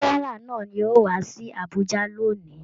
Gẹ́nẹrà náà yóò wá sí Abùjá lóni.